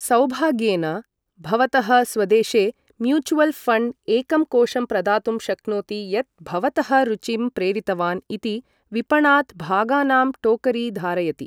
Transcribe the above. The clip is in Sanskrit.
सौभाग्येन, भवतः स्वदेशे म्यूचुअल् फण्ड् एकं कोषं प्रदातुं शक्नोति यत् भवतः रुचिं प्रेरितवान् इति विपणात् भागानां टोकरी धारयति।